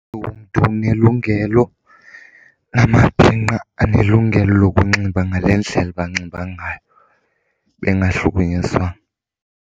umntu unelungelo, namabhinqa anelungelo lokunxiba ngale ndlela banxiba ngayo bengahlukunyezwanga.